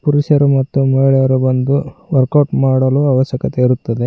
ಪುರುಷರು ಮತ್ತು ಮಹಿಳೆಯರು ಬಂದು ವರ್ಕ್ಔಟ್ ಮಾಡಲು ಅವಶ್ಯಕತೆ ಇರುತ್ತದೆ.